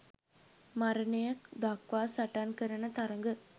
මරණය දක්වා සටන් කරන තරග